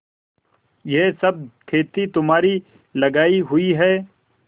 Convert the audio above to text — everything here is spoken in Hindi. यह सब खेती तुम्हारी लगायी हुई है